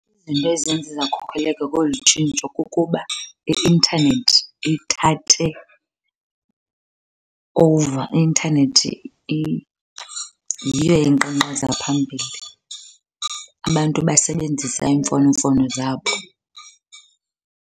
Izinto ezenze zakhokheleka kolu tshintsho kukuba i-intanethi ithathe over. I-intanethi yiyo enkqankqaza phambili. Abantu basebenzisa iimfonomfono zabo.